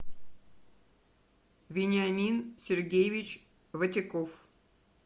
вениамин сергеевич ватяков